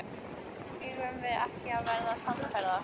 Eigum við ekki að verða samferða?